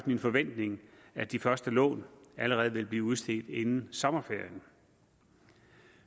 min forventning at de første lån allerede vil blive udstedt inden sommerferien